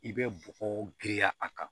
I bɛ bɔgɔ giriya a kan